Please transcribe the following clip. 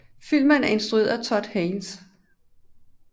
Filmen er instrueret af Todd Haynes